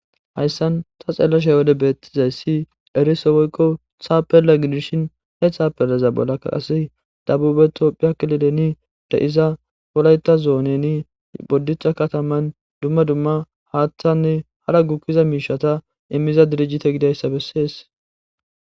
hayssan ta xeelashaywole beettizayssi eriso woykko thaapella gidishin he thaapellaza bollakka ase dabubeto piaklileni de7iza polayta zooneni boddixa kataman dumma dumma haatthanne hara gukkiza miishata immiza dirijite gidayssa bessees